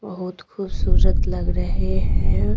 बहुत खूबसूरत लग रहे हैं।